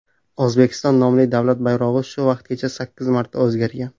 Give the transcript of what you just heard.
O‘zbekiston nomli davlat bayrog‘i shu vaqtgacha sakkiz marta o‘zgargan.